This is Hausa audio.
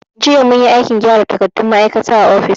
Jiya munyi aikin gyara takardun ma'aikata a ofis.